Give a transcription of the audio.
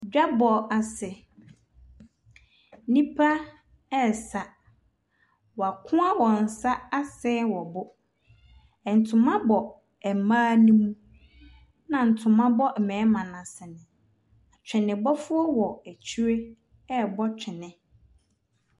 Dwabɔ ase, nnipa resa. Wɔakoa wɔn nsa asee wɔn bo. Ntoma bɔ mmaa no mu, ɛna ntoma bɔ mmarimano asene. Atwenebɔfoɔ wɔ akyire rebɔ twene.